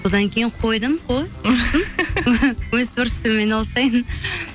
содан кейін қойдым қой өз творчестваммен айналысайын